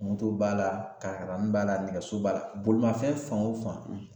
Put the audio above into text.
b'a la karani b'a la nɛgɛso b'a la, bolimafɛn fan o fan